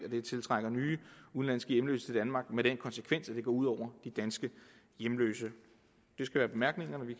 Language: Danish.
det tiltrækker nye udenlandske hjemløse til danmark med den konsekvens at det går ud over de danske hjemløse